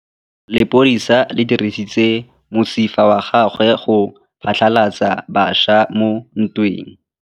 Lepodisa le dirisitse mosifa wa gagwe go phatlalatsa batšha mo ntweng.